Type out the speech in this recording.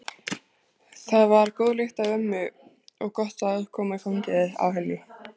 Það var góð lykt af ömmu og gott að koma í fangið á henni.